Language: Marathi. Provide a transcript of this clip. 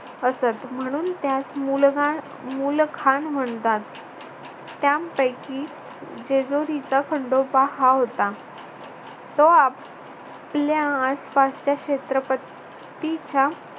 असत म्हणून त्यास मुलखान मुलखान म्हणतात. त्यांपैकी जेजुरीचा खंडोबा हा होता. तो आपल्या आपल्यास आसपासच्या क्षेत्रपतीच्या